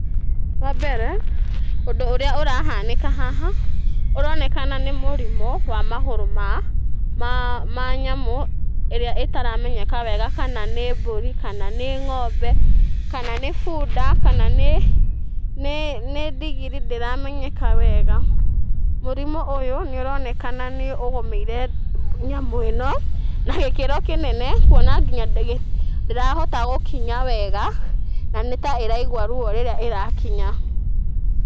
Wambere ũndũ ũrĩa ũrahanĩka haha ũronekana nĩ mũrimũ wa magũrũ ma nyamũ iria ĩtaramenyeka wega kana nĩ mbũri, kana nĩ ngombe, kana nĩ bunda, kana nĩ ndigiri ndĩramenyeka wega. Mũrimũ ũyũ nĩ ũronekana nĩ ũgomĩire nyamũ ĩno na gĩkĩro kĩnene, kuona ndĩrahota gũkinya wega, na nĩ ta ĩraigua ruo rĩrĩa ĩra kinya.